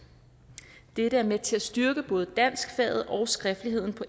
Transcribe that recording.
det vil være med til at styrke både danskfaget og skriftligheden på